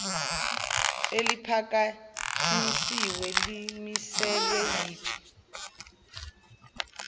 eliphakanyisiwe limiselwe yiphi